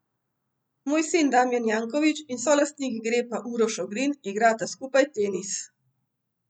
Moj sin Damijan Janković in solastnik Grepa Uroš Ogrin igrata skupaj tenis.